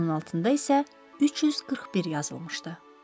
Onun altında isə 341 yazılmışdı.